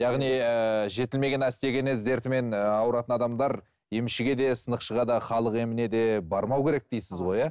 яғни ііі жетілмеген остеогенез дертімен ауыратын адамдар емшіге де сынықшыға да халық еміне де бармау керек дейсіз ғой иә